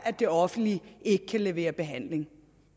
det offentlige ikke kan levere behandling